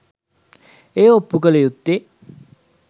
එය ඔප්පු කල යුත්තේ